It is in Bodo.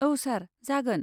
औ सार, जागोन।